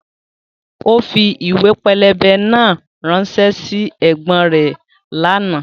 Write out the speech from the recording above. Ó fi ìwé pẹlẹbẹ náà ránṣẹ́ sí ẹ̀gbọ́n rẹ̀ lánàá